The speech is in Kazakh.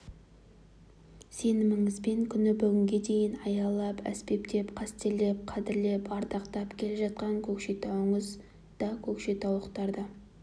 сеніміңізбен күні бүгінге дейін аялап әспеттеп қастерлеп қадірлеп ардақтап келе жатқан көкшетауыңыз да көкшетаулықтар да